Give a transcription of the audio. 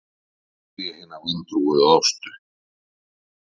spyr ég hina vantrúuðu Ástu.